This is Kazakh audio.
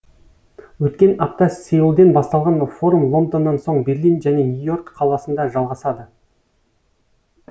өткен апта сеулден басталған форум лондоннан соң берлин және нью и орк қаласында жалғасады